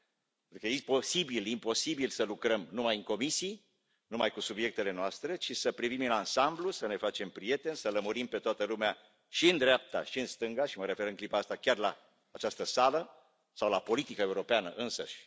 pentru că e imposibil să lucrăm numai în comisii, numai cu subiectele noastre, ci să privim în ansamblu, să ne facem prieteni, să lămurim pe toată lumea și în dreapta și în stânga și mă refer în clipa asta chiar la această sală, sau la politica europeană însăși.